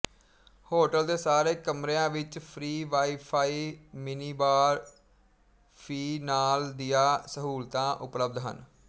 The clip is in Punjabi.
ਹੋਟਲ ਦੇ ਸਾਰੇ ਕਮਰੇਆ ਵਿੱਚ free wifi minibar fee ਨਾਲ ਦੀਆ ਸਹੂਲਤਾ ਉਪਲਬਧ ਹਨ